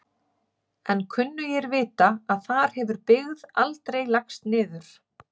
En kunnugir vita að þar hefur byggð aldrei lagst niður.